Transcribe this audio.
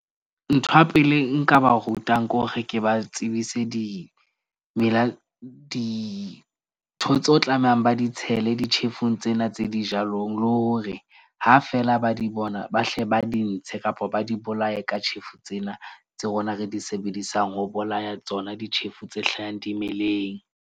Ntho ya pele nka ba rutang kore ke ba tsebise dimela dintho tseo tlamehang ba di tshele ditjhefu tsena tse dijalong, le hore ha feela ba di bona, ba hle ba di ntshe kapa ba di bolaye ka tjhefu tsena, tse rona re di sebedisang ho bolaya tsona ditjhefu tse hlahang dimeleng.